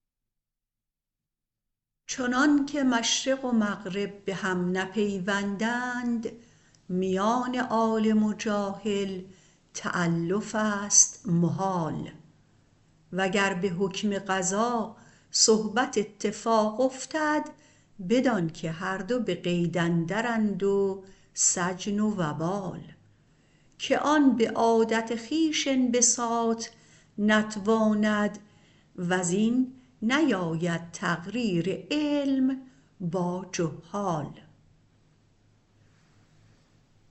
چنانکه مشرق و مغرب به هم نپیوندند میان عالم و جاهل تألفست محال وگر به حکم قضا صحبت اتفاق افتد بدانکه هر دو به قید اندرند و سجن و وبال که آن به عادت خویش انبساط نتواند وز این نیاید تقریر علم با جهال